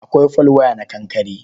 Akwai folwaya na kankare.